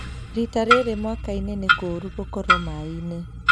Rita rĩrĩ mwakainĩ nĩ kũũru gũkorwo maĩinĩ